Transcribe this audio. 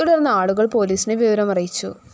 തുടര്‍ന്ന് ആളുകള്‍ പൊലീസിനെ വിവരം അറിയിച്ചു